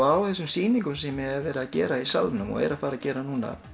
á þessum sýningum sem ég hef verið að gera í Salnum og er að fara að gera